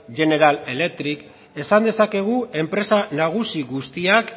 general electric esan dezakegu enpresa nagusi guztiak